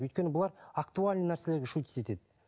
өйткені бұлар актуальный нәрселерге шутить етеді